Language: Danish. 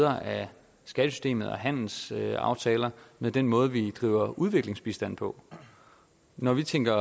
af skattesystemet og handelsaftaler med den måde vi driver udviklingsbistand på når vi tænker